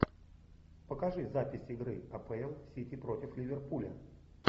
покажи запись игры апл сити против ливерпуля